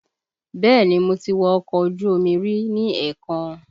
Bẹẹ ni, mo ti wọ ọkọ ojú omi rí ní èèkàn